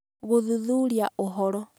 Gũthuthuria Ũhoro